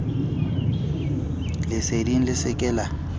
leseding le se ke la